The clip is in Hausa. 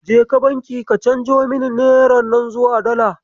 Kaje banki ka canjo mini neran nan zuwa Dala.